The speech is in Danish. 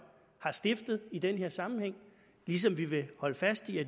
har stiftet i den her sammenhæng ligesom vi vil holde fast i at